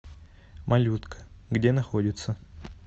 малютка где находится